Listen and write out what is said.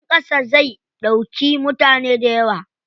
Jirgin ƙasa zai ɗauki mutane dayawa.